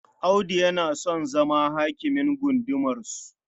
Audu yana son zama hakimin gundumarsu..